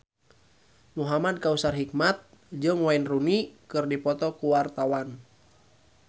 Muhamad Kautsar Hikmat jeung Wayne Rooney keur dipoto ku wartawan